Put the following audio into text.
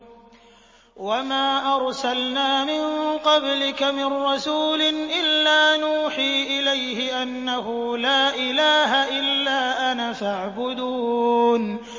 وَمَا أَرْسَلْنَا مِن قَبْلِكَ مِن رَّسُولٍ إِلَّا نُوحِي إِلَيْهِ أَنَّهُ لَا إِلَٰهَ إِلَّا أَنَا فَاعْبُدُونِ